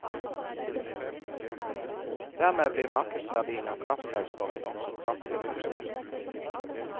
Dermed blir markedsverdien av kraftselskapene også kraftig redusert.